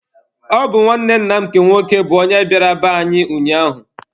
Ọ bụ nwanne nna anyị nke nwoke bụ onye bịara be anyị ụnyaahụ.